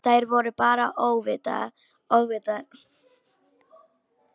Þær voru bara óvitar og gerðu þetta alveg óvart.